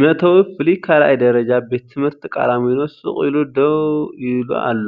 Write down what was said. መእተዊ ፍሉይ ካልኣይ ደረጃ ቤት ትምህርቲ ቃላሚኖ ስቕ ኢሉ ደው ኢሉ ኣሎ።